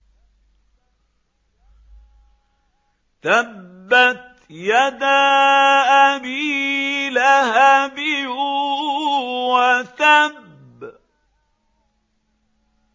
تَبَّتْ يَدَا أَبِي لَهَبٍ وَتَبَّ